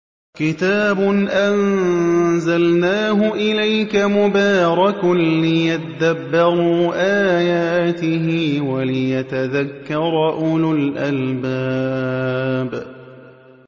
كِتَابٌ أَنزَلْنَاهُ إِلَيْكَ مُبَارَكٌ لِّيَدَّبَّرُوا آيَاتِهِ وَلِيَتَذَكَّرَ أُولُو الْأَلْبَابِ